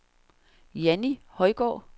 Janni Højgaard